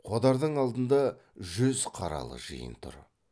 қодардың алдында жүз қаралы жиын тұр